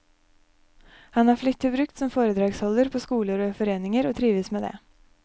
Han er flittig brukt som foredragsholder på skoler og i foreninger, og trives med det.